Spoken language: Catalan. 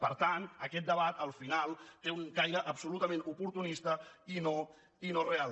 per tant aquest debat al final té un caire absolutament oportunista i no real